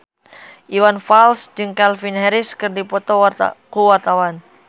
Iwan Fals jeung Calvin Harris keur dipoto ku wartawan